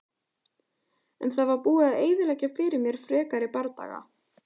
En það var búið að eyðileggja fyrir mér frekari bardaga.